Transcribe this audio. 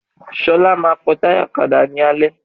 Ṣọlá ma pọ́ táyà ọ̀kadà ní alẹ́